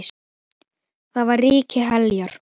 Þar var ríki Heljar.